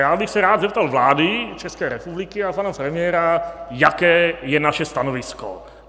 Já bych se rád zeptal vlády České republiky a pana premiéra, jaké je naše stanovisko.